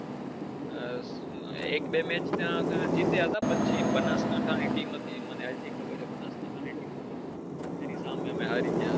એક બે match ત્યાં આગળ જીત્યા હતા પછી બનાસકાંઠા ની team હતી મને હજી ખબર છે બનાસકાંઠા ની team હતી એની સામે અમે હારી ગયા હતા